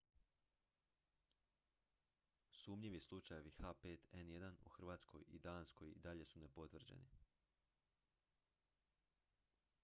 sumnjivi slučajevi h5n1 u hrvatskoj i danskoj i dalje su nepotvrđeni